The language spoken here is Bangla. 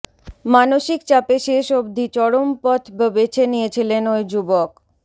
মানসিক চাপে শেষ অবধি চরম পথ ব বেছে নিয়েছিলেন ওই যুবক